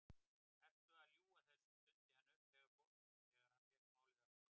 Ertu að ljúga þessu? stundi hann upp þegar hann fékk málið aftur.